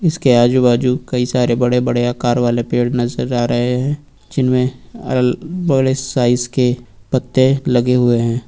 इसके आजू बाजू कई सारे बड़े बड़े आकार वाले पेड़ नजर आ रहे हैं जिनमें बड़े साइज के पत्ते लगे हुए हैं।